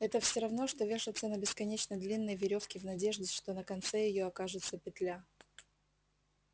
это все равно что вешаться на бесконечно длинной верёвке в надежде что на конце её окажется петля